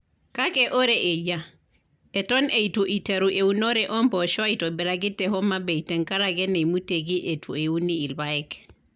Kake ore eyia, eton eitu iteru eunore o mpoosho aitobiraki te Homa bay tenkaraki neimutieki eitu euni irpaek.